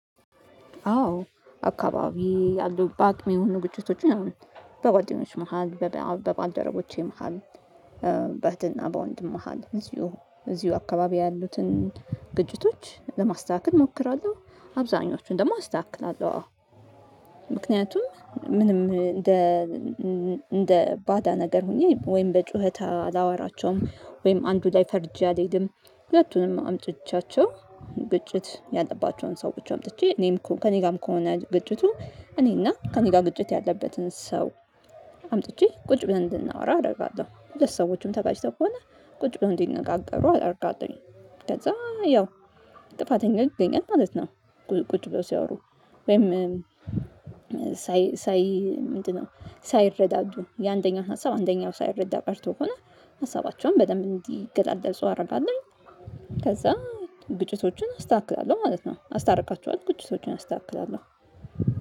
አዎ አካባቢ ያሉ በአቅሜው ንግግሮች ምናምን በጓደኞች መሃል በባልደረቦቼ መሃል በእህትና በወንድም መሃል እዚሁ እዚሁ አካባቢ ያሉትን ግጭቶች ለማስተካከል እሞክራለሁ አብዛኞቹን ደግሞ አስተካክላለሁ አዎ ምክንያቱም ምንም እንደ እንደ ባዳ ነገር ሆኜ ወይም በጩኸት አላወራቸውም ወይም አንዱ ላይ ፈርጄ አልሄድም ሁለቱንም አምጥቻቸው ግጭት ያለባቸውን ሰዎች አምጥቼ እኔም ከእኔ ጋርም ከሆነ ግጭቱ እኔና ከእኔ ጋር ግጭት ያለበትን ሰው አምጥቼ ቁጭ ብለን እንድናወራ አደርጋለሁ ሁለት ሰዎችም ተጋጭተው ከሆነ ቁጭ ብለው እንዲነጋገሩ አደርጋለሁኝ ከዛ ያው ጥፋተኛ ይገኛል ማለት ነው። ቁጭ ብለው ሲያወሩ ወይም ሳይ ሳይ ሳይረዳዱ የአንደኛው ሀሳብ አንደኛው ሳይረዳ ቀርቶ ከሆነ ሀሳባቸውን በደንብ እንዲገላለፁ አደርጋለሁኝ ከዛ ግጭቶቹን አስተካክላለሁ ማለት ነው አስታርቃቸዋለሁ ግጭቶቹን አስተካክላለሁ